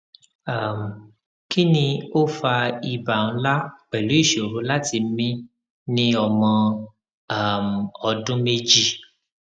um kini o fa iba nla pelu isoro lati mi ni omo um odun meji